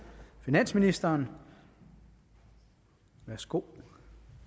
finansministeren værsgo